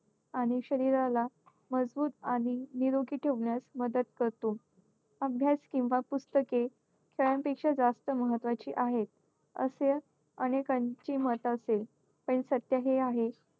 आणि शरीराला मजबूत आणि निरोगी ठेवण्यास मदत करतो. अभ्यास किंवा पुस्तके खेळांपेक्षा जास्त महत्त्वाची आहेत. असे अनेकांची मत असेल, पण सत्य हे आहे,